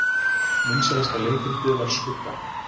Vinsælasta leikritið var Skugga